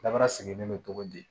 Dabara sigilen bɛ togo di